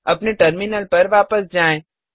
अपने टर्मिनल पर वापस जाएँ